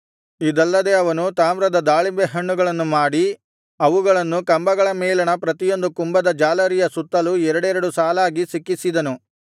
ಇದಲ್ಲದೆ ಅವನು ತಾಮ್ರದ ದಾಳಿಂಬೆಹಣ್ಣುಗಳನ್ನು ಮಾಡಿ ಅವುಗಳನ್ನು ಕಂಬಗಳ ಮೇಲಣ ಪ್ರತಿಯೊಂದು ಕುಂಭದ ಜಾಲರಿಯ ಸುತ್ತಲೂ ಎರಡೆರಡು ಸಾಲಾಗಿ ಸಿಕ್ಕಿಸಿದನು